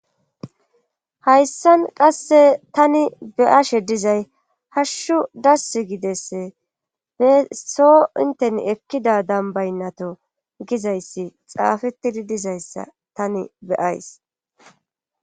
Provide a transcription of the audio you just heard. hayssan qasse tani be'ashe dizay hashshu dass gidesse besso inten ekkida dambaynnato gizayssi xaafettidi dizayssa tani be'ays